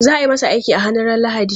Za ayi masa aiki a hannu ran lahadi